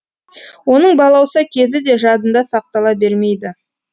оның балауса кезі де жадында сақтала бермейді